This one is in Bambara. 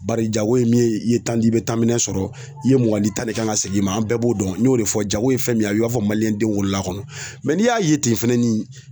Bari jago in ye i ye tan i bɛ tan minɛ sɔrɔ i ye mugan di ta de kan ka segin i ma an bɛɛ b'o dɔn n y'o de fɔ jago ye fɛn min ye a y'a fɔ maliyɛnden wolola a kɔnɔ n'i y'a ye ten fɛnɛ nin